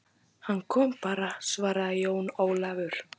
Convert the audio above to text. Hann kom bara, svaraði Jón Ólafur.